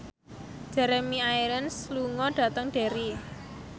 Jeremy Irons lunga dhateng Derry